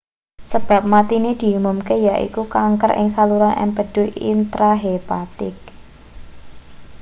sebab matine diumumke yaiku kanker ing saluran empedu intrahepatik